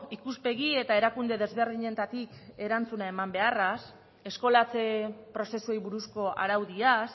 ikuspegi eta erakunde desberdinetatik erantzuna eman beharraz eskolatze prozesuei buruzko araudiaz